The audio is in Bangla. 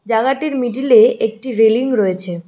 জাগাটির মিডিলে একটি রেলিং রয়েছে।